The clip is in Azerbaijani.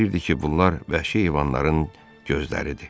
Bax verirdi ki, bunlar vəhşi heyvanların gözləridir.